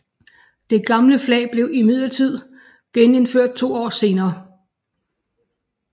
Det gamle flag blev imidlertid genindført to år senere